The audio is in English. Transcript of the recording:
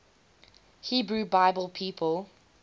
hebrew bible people